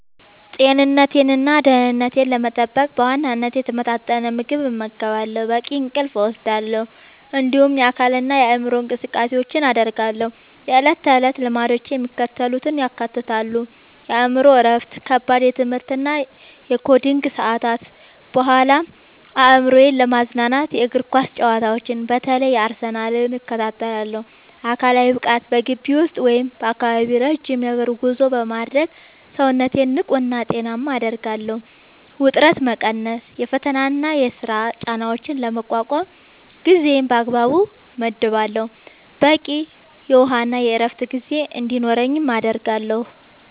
ጤንነቴንና ደህንነቴን ለመጠበቅ በዋናነት የተመጣጠነ ምግብ እመገባለሁ፣ በቂ እንቅልፍ እወስዳለሁ፣ እንዲሁም የአካልና የአእምሮ እንቅስቃሴዎችን አደርጋለሁ። የዕለት ተዕለት ልምዶቼ የሚከተሉትን ያካትታሉ፦ የአእምሮ እረፍት፦ ከከባድ የትምህርትና የኮዲንግ ሰዓታት በኋላ አእምሮዬን ለማዝናናት የእግር ኳስ ጨዋታዎችን (በተለይ የአርሰናልን) እከታተላለሁ። አካላዊ ብቃት፦ በግቢ ውስጥ ወይም በአካባቢው ረጅም የእግር ጉዞ በማድረግ ሰውነቴን ንቁና ጤናማ አደርጋለሁ። ውጥረት መቀነስ፦ የፈተናና የሥራ ጫናዎችን ለመቋቋም ጊዜን በአግባቡ እመድባለሁ፣ በቂ የውሃና የዕረፍት ጊዜ እንዲኖረኝም አደርጋለሁ።